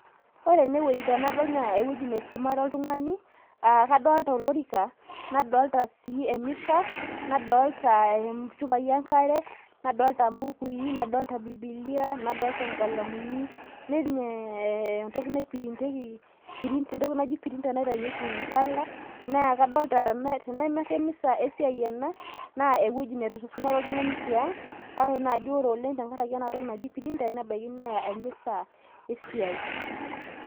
ore ene wueji tenadol naa ewueji neisumare oltung'ni, kadoolta olorika, nadoolta sii emisa, nadoolta inchupai enkare, nadoolta mbukui, nadoolta bibilia, nadoolta nkalamuni, nelioo entoki naiprintieki, entoki nai printer naitainyieki mpala, naa kadolta, teneme emisa esiai ake ena naa ewueji niesumare oltungani tiang',kake ore naaji oleng, tenkaraki printer nebaiki naa emisa esiiai.